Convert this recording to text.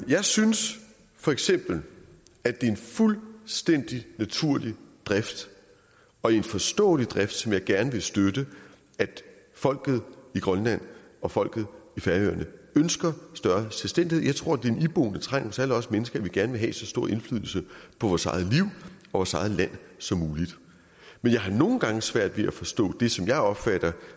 jeg synes feks at det er en fuldstændig naturlig drift og en forståelig drift som jeg gerne vil støtte at folket i grønland og folket i færøerne ønsker større selvstændighed jeg tror det er en iboende trang hos alle os mennesker at vi gerne vil have så stor indflydelse på vores eget liv og vores eget land som muligt men jeg har nogle gange svært ved at forstå det som jeg opfatter